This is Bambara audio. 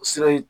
Sira in